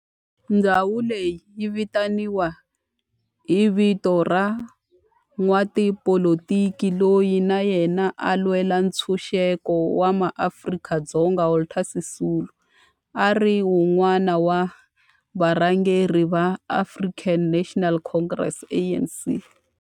Ndhawo leyi yi vitaniwa hi vito ra n'watipolitiki loyi na yena a lwela ntshuxeko wa maAfrika-Dzonga Walter Sisulu, a ri wun'wana wa varhangeri va African National Congress, ANC.